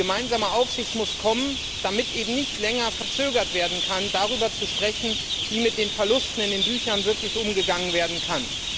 Die gemeinsame Aufsicht muss kommen, damit es eben nicht länger hinausgezögert werden kann, darüber zu sprechen, wie mit den Verlusten in den Büchern wirklich umgegangen werden kann.